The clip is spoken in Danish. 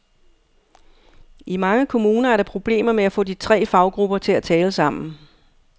I mange kommuner er der problemer med at få de tre faggrupper til at tale sammen.